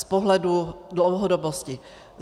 Z pohledu dlouhodobosti.